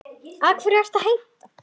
Hverju er hann að heita?